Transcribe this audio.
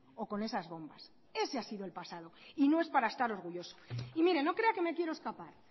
o con esas bombas ese ha sido el pasado y no es para estar orgulloso y mire no crea que me quiero escapar